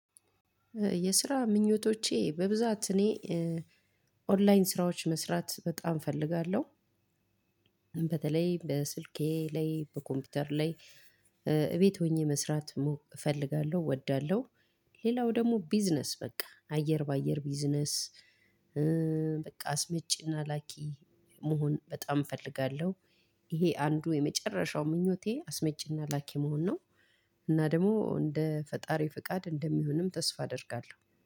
የስራ ምኞቶቼ በብዛት እኔ ኦንላይን ስራዎች መስራት በጣም እፈልጋለሁ በተለይ በስልኬ ላይ በኮምፒውተር ላይ እቤት ሆኜ መስራት እፈልጋለሁ እወዳለሁ። ሌላው ደግሞ ቢዝነስ በቃ አየር በአየር ቢዝነስ። አስመጪና ላኪ መሆን በጣም እፈልጋለሁ። ይሄ አንዱ የመጨረሻው ምኞቴ አስመጪና ላኪ መሆን ነው። እና ደግሞ እንደ ፈጣሪ ፍቃድ እንደሚሆንም ተስፋ አደርጋለሁ